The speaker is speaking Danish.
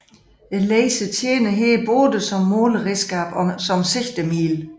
Laseren tjener her både som måleredskab og som sigtemiddel